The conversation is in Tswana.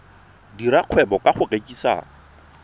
dira kgwebo ka go rekisa